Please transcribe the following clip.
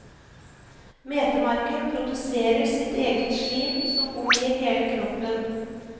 Metemarken produserer sitt eget slim som omgir hele kroppen.